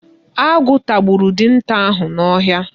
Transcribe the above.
Agụ tagburu dinta ahụ n'ọhịa.